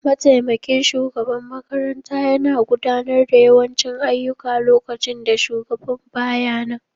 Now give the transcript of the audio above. Mataimakin shugaban makaranta yana gudanar da yawancin ayyuka lokacin da shugaban ba ya nan.